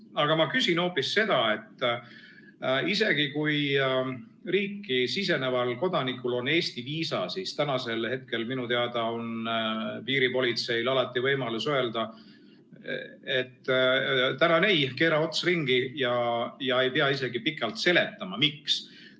Aga ma küsin hoopis seda, et isegi kui riiki siseneval kodanikul on Eesti viisa, siis tänasel hetkel minu teada on piiripolitseil alati võimalus öelda, et tänan, ei, keera ots ringi, ja ei pea isegi pikalt seletama, miks.